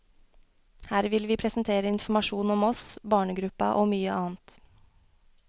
Her vil vi presentere informasjon om oss, barnegruppa og mye annet.